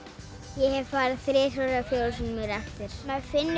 ég hef farið þrisvar eða fjórum sinnum í réttir maður finnur